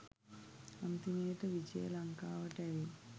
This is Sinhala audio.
අන්තිමේට විජය ලංකාවට ඇවිත්